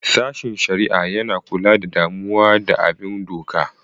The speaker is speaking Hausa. Sashin Shari'a: Yana kula da damuwa da bin doka.